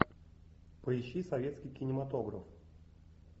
поищи советский кинематограф